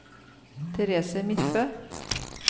Therese Midtbø